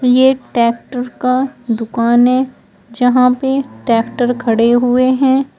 ये टैक्टर का दुकान है जहां पे टैक्टर खड़े हुए हैं।